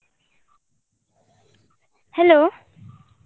Speaker 1